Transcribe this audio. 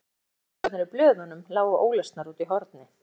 Jafnvel myndasögurnar í blöðunum lágu ólesnar úti í horni.